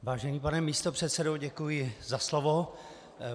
Vážený pane místopředsedo, děkuji za slovo.